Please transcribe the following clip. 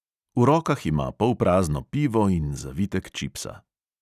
V rokah ima polprazno pivo in zavitek čipsa.